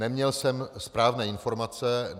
Neměl jsem správné informace.